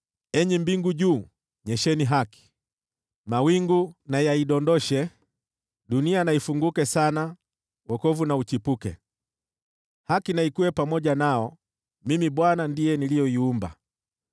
“Enyi mbingu juu, nyesheni haki, mawingu na yaidondoshe. Dunia na ifunguke sana, wokovu na uchipuke, haki na ikue pamoja nao. Mimi, Bwana , ndiye niliyeiumba.